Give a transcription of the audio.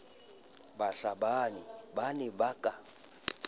bahlabani ba ne ba ka